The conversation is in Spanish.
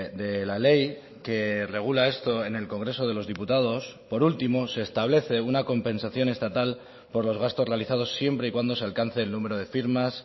de la ley que regula esto en el congreso de los diputados por último se establece una compensación estatal por los gastos realizados siempre y cuando se alcance el número de firmas